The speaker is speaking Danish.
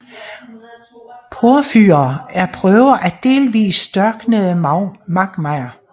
Porfyrer er prøver af delvist størknede magmaer